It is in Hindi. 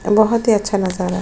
बहत ही अच्छा नजारा है।